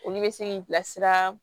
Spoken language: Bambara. Olu bɛ se k'i bilasira